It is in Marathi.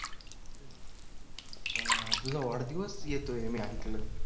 अं तुझा वाढदिवस येतोय मी ऐकलं